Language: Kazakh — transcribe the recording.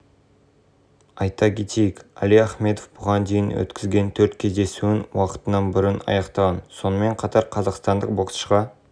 алғашында әлидің қарсыласы латвиялық эдуард герасимовс болатыны кейінірек михал герлецкимен жекпе-жекке шығатыны хабарланған алайда сайтының мәліметі бойынша ол беларусьтік владимир харкевичпен